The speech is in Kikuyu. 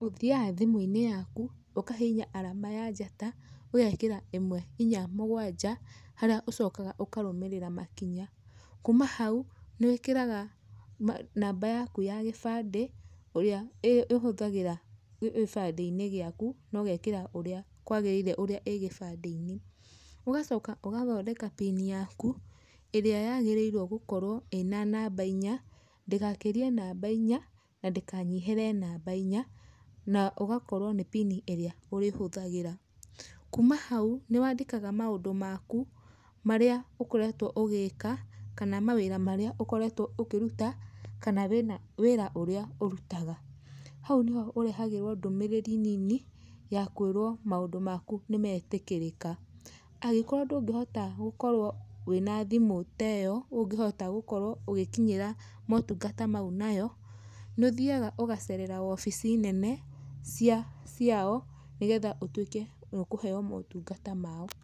Ũthiaga thimũ-inĩ yaku, ũkahihinya arama ya njata, ũgekĩra imwe, inya, mũgwanja, harĩa ũcokaga ũkarũmĩrĩra makinya. Kuuma hau nĩwĩkĩraga namba yaku ya gĩbandĩ, ũrĩa ĩhũthagĩra gĩbandĩ-inĩ gĩaku, nogekĩra ũrĩa kwagĩrĩire ũrĩa ĩ gĩbandĩ-inĩ. Ũgacoka ũgathondeka pin yaku, ĩrĩa yagĩrĩirwo gũkorwo ĩna namba inya, ndĩgakĩrie namba inya na ndĩkanyihĩre namba inya, na ũgakorwo nĩ pin ĩrĩa ũrĩhũthagĩra. Kuuma hau nĩwandĩkaga maũndũ maku marĩa ũkoretwo ũgĩika, kana mawĩra marĩa ũkoretwo ũkĩruta, kana wĩna, wĩra ũrĩa ũrutaga. Hau nĩho ũrehagĩrwo ndũmĩrĩri nini ya kwĩrwo maũndũ maku nĩmetĩkĩrĩka. Agĩkorwo ndũngihota gũkorwo wĩna thimũ teyo ũngihota gũkorwo ũgĩkinyĩra motungata mau nayo, nĩ ũthiaga ũgacerera wobici nene cia, ciao, nĩgetha ũtuĩke nĩũkũheywo motungata mao.